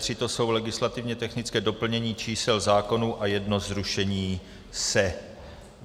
To jsou legislativně technická doplnění čísel zákonů a jedno zrušení se.